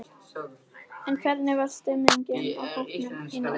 En hvernig var stemningin í hópnum í nótt?